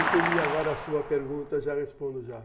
Entendi agora a sua pergunta, já respondo já.